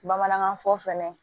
Bamanankan fɔ fɛnɛ